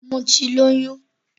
Mo ti lóyún.